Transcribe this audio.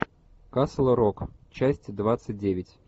касл рок часть двадцать девять